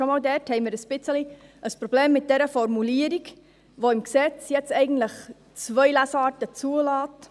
Schon einmal dort haben wir ein wenig ein Problem mit dieser Formulierung, die im Gesetz jetzt eigentlich zwei Lesarten zulässt.